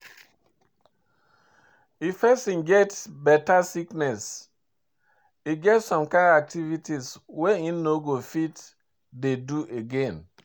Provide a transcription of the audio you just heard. If person get better sickness, e get some kind activities wey im no go fit dey do again